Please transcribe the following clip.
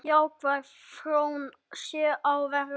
Jákvæð þróun sé á verði.